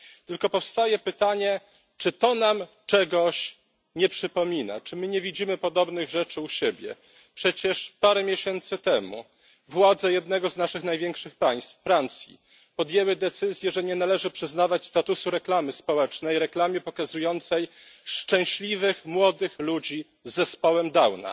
Tylko powstaje pytanie czy to nam czegoś nie przypomina, czy my nie widzimy podobnych rzeczy u siebie? Przecież parę miesięcy temu władze jednego z naszych największych państw, Francji, podjęły decyzję, że nie należy przyznawać statusu reklamy społecznej reklamie pokazującej szczęśliwych młodych ludzi z zespołem Downa.